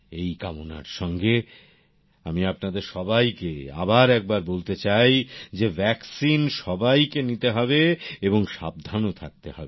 এই কামনার সঙ্গে আমি আপনাদের সবাইকে আবার একবার বলতে চাই যে ভ্যাক্সিন সবাইকে নিতে হবে এবং সাবধান ও থাকতে হবে